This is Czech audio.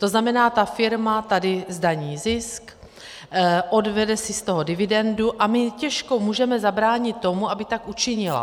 To znamená, že firma tady zdaní zisk, odvede si z toho dividendu, a my těžko můžeme zabránit tomu, aby tak učinila.